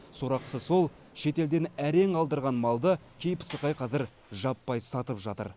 сорақысы сол шетелден әрең алдырған малды кей пысықай қазір жаппай сатып жатыр